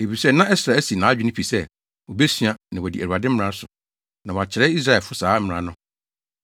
Efisɛ na Ɛsra asi nʼadwene pi sɛ, obesua, na wadi Awurade mmara so, na wakyerɛ Israelfo saa mmara no.